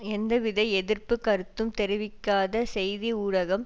எந்தவித எதிர்ப்பு கருத்தும் தெரிவிக்காத செய்தி ஊடகம்